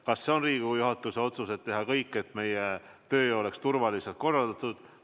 Kas see on Riigikogu juhatuse otsus, et tuleb teha kõik, et meie töö oleks turvaliselt korraldatud?